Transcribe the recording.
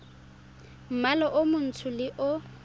mmala o montsho le o